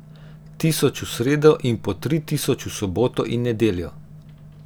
Tisoč v sredo in po tri tisoč v soboto in nedeljo.